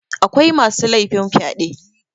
akwai masu laifin fyaɗe